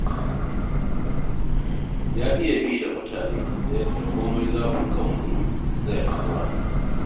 Ya iya bi da mutane ta yadda komai zafin kan mutum zai haƙura.